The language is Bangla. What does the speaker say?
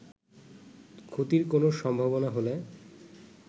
ক্ষতির কোন সম্ভাবনা হলে